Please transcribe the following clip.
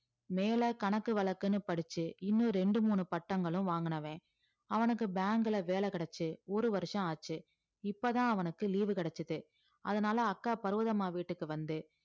மேல கணக்கு வழக்குன்னு படிச்சு இன்னும் ரெண்டு மூணு பட்டங்களும் வாங்கினவன் அவனுக்கு bank ல வேலை கிடைச்சு ஒரு வருஷம் ஆச்சு இப்பதான் அவனுக்கு leave கிடைச்சது அதனால அக்கா பர்வதம்மா வீட்டுக்கு வந்து